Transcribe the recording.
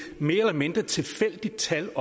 mere eller mindre tilfældigt tal